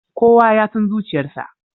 Kowa ya san zuciyarsa.